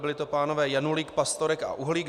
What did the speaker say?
Byli to pánové Janulík, Pastorek a Uhlík.